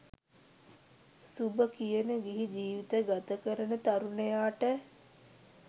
සුභ කියන ගිහි ජීවිතය ගත කරන තරුණයාට.